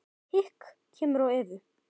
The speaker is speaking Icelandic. Hik kemur á Evu.